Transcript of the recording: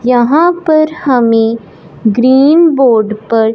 यहां पर हमे ग्रीन बोर्ड पर--